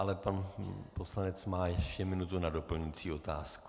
Ale pan poslanec má ještě minutu na doplňující otázku.